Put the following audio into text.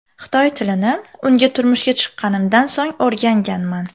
Xitoy tilini unga turmushga chiqqanimdan so‘ng o‘rganganman.